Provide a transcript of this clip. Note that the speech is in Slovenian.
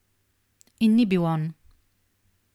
In ni bil on.